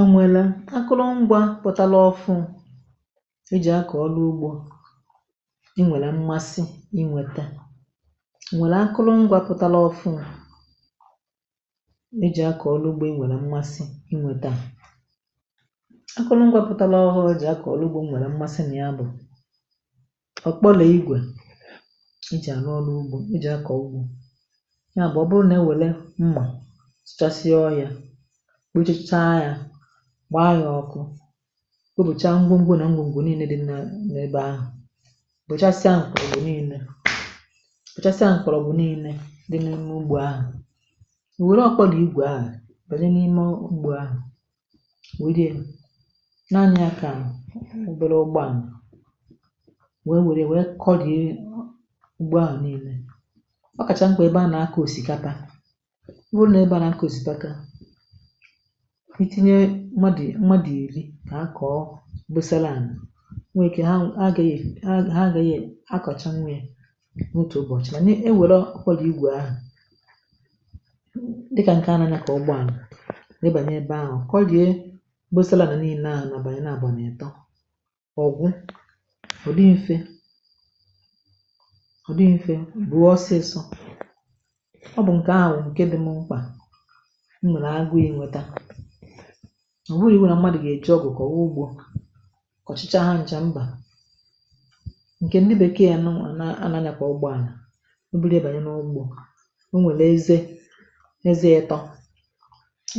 A nwèrè akụrụ ngwa pụ̀tala ọfụụ e jì akọ̀ ọlụ ugbȯ inwèlè mmasị inwète à nwèlè akụrụ ngwȧ pụ̀tala ọfụụ e jì akọ̀ ọlụ ugbȯ inwèlè mmasị inwète à, akụrụ ngwȧ pụ̀tala ọhụrụ e jì akọ̀ ọlụ ugbȯ nwèlè mmasị nà ya bụ̀ ọ̀ kpọlè igwè e jì àrụ ọlụ ugbȯ e jì akọ ugbo yá bú ọ bụrụ ná e were mmá sụchasịa ọhịa, kpochicha yȧ, gbaa ya ọkụ, kpopòchaa ngwugwu na ngwugwu niile dị na n’ebe ahụ̀, bụ̀chasịa ankwụ̀rụ̀ niile bụ̀chasịa ankwụ̀rụ̀ bụ̀ niile dị n’ime ugbȯ ahụ̀, ò wère ọkwa dị igwè ahụ̀ bènye n’ime ugbȯ ahụ̀ ò werė ya naa anya ya kà obere ugbo ànà wee wère ya wee kọgị̀ị̀a ugbȯ ahụ̀ nille. Ọ kacha mkpa ebe a na-akọ ọsikapa nwụrụ nà ebe à na-akọ̀ ọsipaka itinye mmadụ̀ è mmadụ̀ iri kà ha kọ̀ mgbọsala ànà nwee ike ha agȧghị̇ ha ha agȧghị̇ akọ̀cha nwee n’otù ụbọ̀chị̀, màna e wère akwàlà igwè ahụ̀ dịkà ǹkè anȧ aya kà ụgbọ ànà nye bànyẹ̀ ebe ahụ̀ kó rie mgbọsala ànà niile nà àbàni nábu n'etọ ọ̀gwụ ụ̀dị mfẹ ụ̀dị mfẹ bụ̀o ọsịsọ. Ọ bu nke ahụ bú nke dị mụ mkpa m nwèrè agụ i nweta, ọ wụrụ iwu nà mmadụ̀ gà-èji ọgụ kọwa ugbȯ kọ̀chicha ha ncha mbà ǹkè ndị bèkeè nụwa nà-anȧ anyȧ kà ụgbọ àlà ọ bụrụ ya bànyè n’ugbȯ o nwèlu eze eze etọ